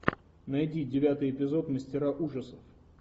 найди девятый эпизод мастера ужасов